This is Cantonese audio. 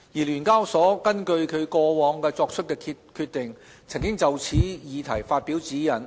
聯交所根據其過往作出的決定，曾就此議題發表指引。